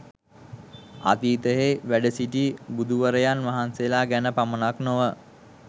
අතීතයෙහි වැඩසිටි බුදුවරයන් වහන්සේලා ගැන පමණක් නොව